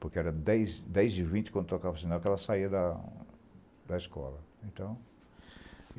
Porque era dez dez e vinte, quando tocava sinal, que ela saía da da escola. Então